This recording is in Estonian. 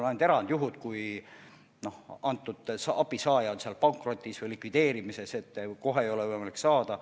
On ainult erandjuhud, näiteks kui abisaaja on pankrotis või likvideerimisel, mistõttu kohe ei ole võimalik saada.